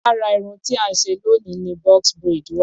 lára irun tí à ń ṣe loni ni box braid wa.